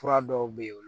Fura dɔw bɛ yen olu